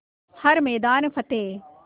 हर मैदान फ़तेह